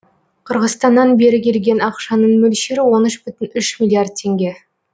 қырғызстаннан бері келген ақшаның мөлшері он үш бүтін үш миллиард теңге